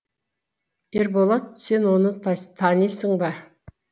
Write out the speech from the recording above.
ерболат сен оны танисың ба